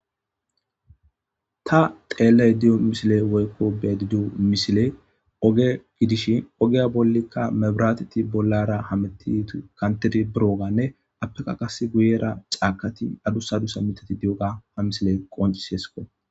ta xeelle idiyo misile woykko bedidu misile oge gidishin ogeya bollikka mebiraateti bollara hametit kantidi birooganne appeka kas guyera caakati adusadusa mitati di7oga ha misile qoncis hesiko